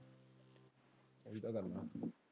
ਅਜੇ ਤਾਂ ਕਰਨਾ।